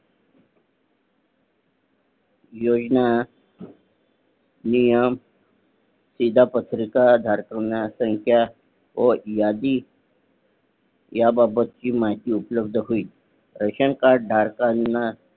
योजना नियम शीदा पत्रिका धारकांना त्यांचा व यादी या बाबद ची माहिती उपलब्ध होईल रेशन कार्ड धारकांना